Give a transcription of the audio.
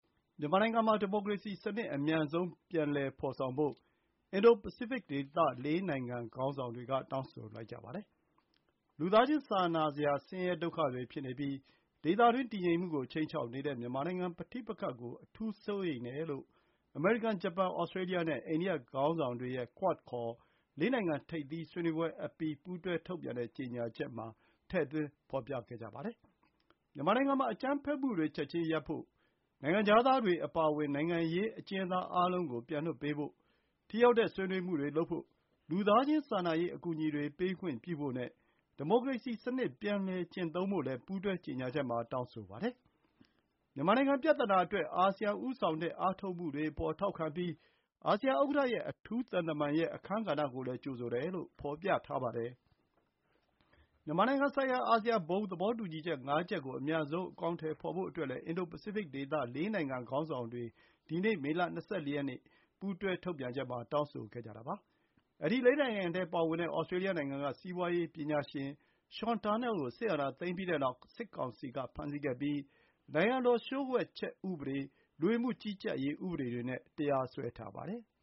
မြန်မာနိုင်ငံမှာ ဒီမိုကရေစီစနစ် အမြန်ဆုံး ပြန်လည် ဖော်ဆောင်ဖို့ အင်ဒို Pacific ဒေသက ခေါင်းဆောင်တွေ တောင်းဆိုလိုက်ကြပါတယ်။ လူသားချင်းစာနာစရာ ဆင်းရဲဒုက္ခတွေဖြစ်နေပြီး ဒေသတွင်း တည်ငြိမ်မှုကို ခြိမ်းခြောက်နေတဲ့ မြန်မာနိုင်ငံပဋိပက္ခကို အထူးစိုးရိမ်တယ်လို့ အမေရိကန်၊ ဂျပန်၊ Australia နဲ့ အိန္ဒိယနိုင်ငံခေါင်းဆောင်တွေရဲ့ အင်ဒို Pacific ၄ နိုင်ငံ ထိပ်သီးဆွေးနွေးပွဲအပြီး ပူးတွဲထုတ်ပြန်တဲ့ ကြေညာချက်မှာ ထည့်သွင်း ဖော်ပြခဲ့ကြပါတယ်။ မြန်မာနိုင်ငံမှာ အကြမ်းဖက်မှုတွေ ချက်ချင်းရပ်ဖို့၊ နိုင်ငံခြားသားတွေအပါအဝင် နိုင်ငံရေးအကျဉ်းသားအားလုံးကို ပြန်လွှတ်ပေးဖို့၊ ထိရောက်တဲ့ ဆွေးနွေးမှုတွေလုပ်ဖို့၊ လူသားချင်းစာနာနဲ့ အကူအညီတွေ ပေးခွင့်ပြုဖို့နဲ့ ဒီမိုကရေစီစနစ် ပြန်လည်ကျင့်သုံးဖို့လည်း ပူးတွဲကြေညာချက်မှာ တောင်းဆိုပါတယ်။ မြန်မာနိုင်ငံပြဿနာအတွက် အာဆီယံဦးဆောင်တဲ့ အားထုတ်မှုတွေအပေါ် ထောက်ခံပြီး အာဆီယံဥက္ကဋ္ဌရဲ့ အထူးသံတမန်ရဲ့ အခန်းကဏ္ဍကိုလည်း ကြိုဆိုတယ်လို့ ဖော်ပြထားပါတယ်။ မြန်မာနိုင်ငံဆိုင်ရာ အာဆီယံ ဘုံသဘောတူညီချက် ၅ ချက်ကို အမြန်ဆုံး အကောင်အထည်ဖော်ဖို့ အတွက်လည်း အင်ဒို Pacific ဒေသ ၄ နိုင်ငံ ခေါင်းဆောင်တွေ ဒီနေ့ မေလ ၂၄ ရက် ပူးတွဲထုတ်ပြန်ချက်မှာ တောင်းဆိုခဲ့ကြပါတယ်။ အဲဒီ ၄ နိုင်ငံထဲပါဝင်တဲ့ Australia နိုင်ငံက စီးပွားရေးပညာရှင် Sean Turnell ကို စစ်အာဏာသိမ်းပြီးနောက် စစ်ကောင်စီက ဖမ်းဆီးခဲ့ပြီး နိုင်ငံတော် လျှို့ဝှက်ချက်ဥပဒေ၊ လူဝင်မှုကြီးကြပ်ရေး ဥပဒေတွေနဲ့ တရားစွဲထားပါတယ်။